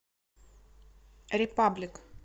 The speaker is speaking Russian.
репаблик